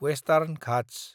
western Ghats